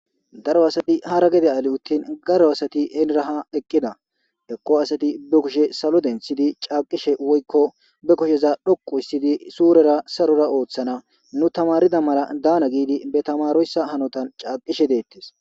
daro asati hara gede ali uttin garo asati helira ha eqqida ekko asati be kushe salo denthidi caaqishe woykko be kusheza dhoqu hissidi suurera sarora ooththana nu tamarida mala daana giidi be tamaroyssa hanotan caaqishe deettes